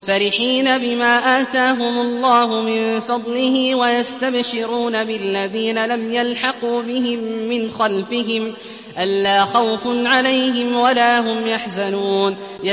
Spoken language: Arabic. فَرِحِينَ بِمَا آتَاهُمُ اللَّهُ مِن فَضْلِهِ وَيَسْتَبْشِرُونَ بِالَّذِينَ لَمْ يَلْحَقُوا بِهِم مِّنْ خَلْفِهِمْ أَلَّا خَوْفٌ عَلَيْهِمْ وَلَا هُمْ يَحْزَنُونَ